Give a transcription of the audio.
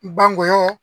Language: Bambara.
Banggɔyɔ